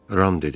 Ram dedi.